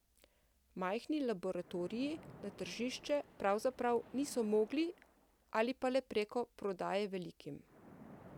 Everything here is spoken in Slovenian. Majhni laboratoriji na tržišče pravzaprav niso mogli ali pa le preko prodaje velikim.